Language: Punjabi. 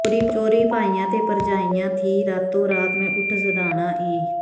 ਚੋਰੀ ਭਾਈਆਂ ਤੇ ਭਰਜਾਈਆਂ ਥੀਂ ਰਾਤੋ ਰਾਤ ਮੈਂ ਉੱਠ ਸਿਧਾਉਣਾ ਈਂ